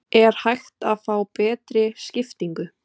Er hægt að fá betri skiptingu?